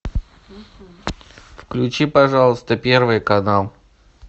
включи пожалуйста первый канал